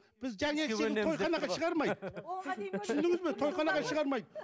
біз жаңағы түсіндіңіз бе тойханаға шығармайды